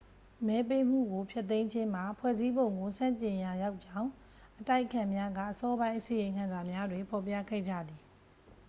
မဲပေးမှုကို ဖျက်သိမ်းခြင်းမှာ ဖွဲ့စည်းပုံကို ဆန့်ကျင်ရာရောကြောင်း အတိုက်အခံများက အစောပိုင်း အစီရင်ခံစာများတွင် ဖော်ပြခဲ့ကြသည်